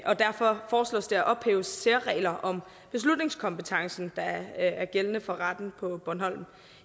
og derfor foreslås det at ophæve særregler om beslutningskompetencen der er gældende for retten på bornholm